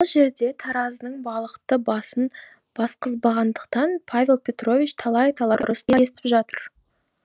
бұл жерде таразының балықты басын басқызбағандықтан павел петрович талай талай ұрыс та естіп жатыр